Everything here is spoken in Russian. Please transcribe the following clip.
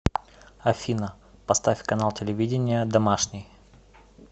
афина поставь канал телевидения домашний